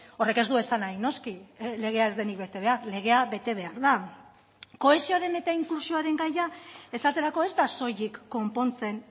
horrek ez du esan nahi noski legea ez denik bete behar legea bete behar da kohesioaren eta inklusioaren gaia esaterako ez da soilik konpontzen